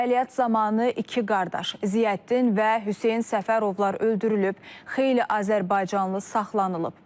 Əməliyyat zamanı iki qardaş, Ziyəddin və Hüseyn Səfərovlar öldürülüb, xeyli azərbaycanlı saxlanılıb.